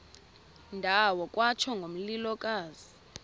ndawo kwatsho ngomlilokazi